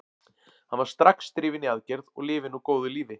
Hann var strax drifinn í aðgerð og lifir nú góðu lífi.